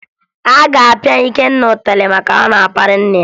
A ga-apịa Ikenna ịtarị maka na ọ na-akparị nna ya